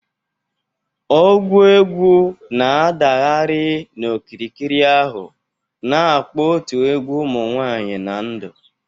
Ogwu egwu na-adagharị n'okirikiri ahụ, na-akpọ otu egwu ụmụ nwanyị na ndụ.